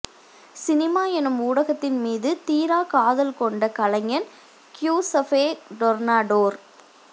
cinema எனும் ஊடகத்தின் மீது தீராக் காதல் கொண்ட கலைஞன் கியுஸபே டொர்னடோர்